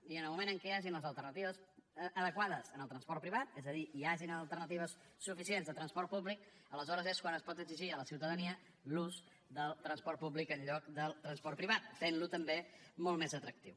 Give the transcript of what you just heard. i en el moment que hi hagin les alternatives adequades al transport privat és a dir hi hagin alternatives suficients de transport públic aleshores és quan es pot exigir a la ciutadania l’ús del transport públic en lloc del transport privat fent lo també molt més atractiu